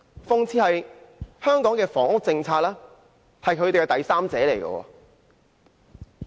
諷刺的是，香港的房屋政策就是他們的第三者。